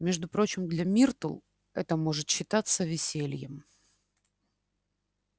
между прочим для миртл это может считаться весельем